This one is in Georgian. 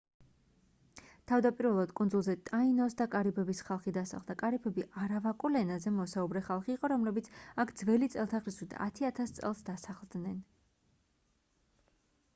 თავდაპირველად კუნძულზე ტაინოს და კარიბების ხალხი დასახლდა კარიბები არავაკულ ენაზე მოსაუბრე ხალხი იყო რომლებიც აქ ძველი წელთაღრიცხვით 10 000 წელს დასახლდნენ